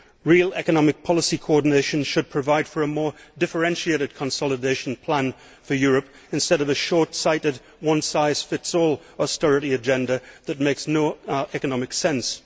Real economic policy coordination should provide for a more differentiated consolidation plan for Europe, instead of the short sighted one size fits all' austerity agenda that makes no economic sense.